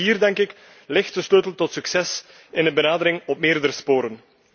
Maar ook hier, denk ik, ligt de sleutel tot succes in een benadering op meerdere sporen.